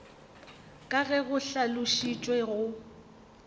ka ge go hlalošitšwe go